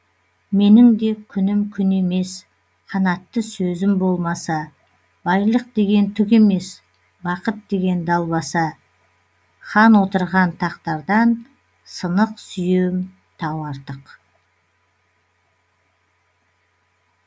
менің де күнім күн емес қанатты сөзім болмаса байлық деген түк емес бақыт деген далбаса хан отырған тақтардан сынық сүйем тау артық